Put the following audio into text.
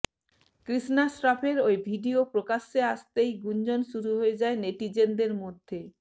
কৃষ্ণা শ্রফের ওই ভিডিয়ো প্রকাশ্যে আসতেই গুঞ্জন শুরু হয়ে যায় নেটিজেনদের মধ্যে